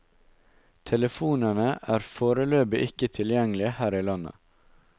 Telefonene er foreløpig ikke tilgjengelige her i landet.